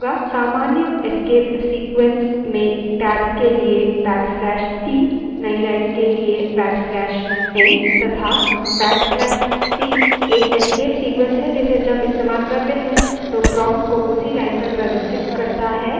सामान्य escape sequences में tab के लिए \t नई line के लिए \t तथा \t एक escape sequences है जिसे जब इस्तेमाल करते हैं तो prompt को उसी line पर प्रदर्शित करता है